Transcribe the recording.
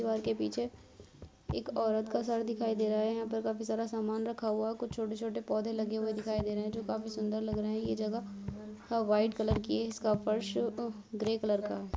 दिवार के पीछे एक औरत का सर दिखाई दे रहा है। यहाँ पर काफी सारा समान रखा हुआ है। कुछ छोटे-छोटे पौधे लगे हुए दिखाई दे रहे है जो काफी सुंदर लग रहे है। ये जगह थोड़ा व्हाइट कलर की है इसका फर्श ग्रे कलर का।